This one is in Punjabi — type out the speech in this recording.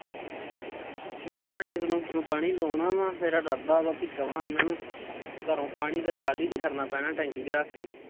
ਨਾ ਹਜੇ ground ਨੂੰ ਪਾਣੀ ਲਾਉਣਾ ਵਾ ਮੇਰਾ ਇਰਾਦਾ ਵੀ ਕਵਾਂ ਉਹਨਾਂ ਨੂੰ ਘਰੋਂ ਪਾਣੀ ਤਾਂ ਟਰਾਲੀ ਚ ਖੜਨਾ ਪੈਣਾ ਟੈਂਕੀ ਚ ਰੱਖ ਕੇ